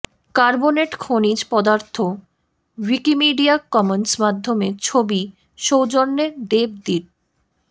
carbonate খনিজ পদার্থ Wikimedia Commons মাধ্যমে ছবি সৌজন্যে ডেভ দিট